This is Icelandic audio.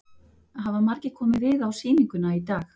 Hafa margir komið við á sýninguna í dag?